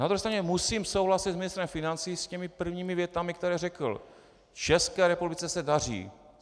Na druhé straně musím souhlasit s ministrem financí, s těmi prvními větami, které řekl: "České republice se daří.